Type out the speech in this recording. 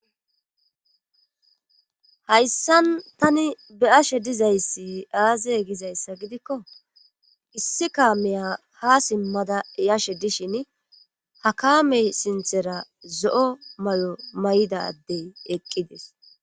Hayssan tani be7ashe dizayssi aaze gizayssa gidikko issi kaamiya haa simmada yashe dishini ha kaame sinthera zo7o mayo mayida addey eqqides.